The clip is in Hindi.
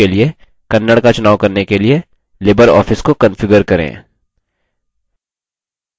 complex text लेआउट के लिए kannada का चुनाव करने के लिए libreoffice को कंफिगर करें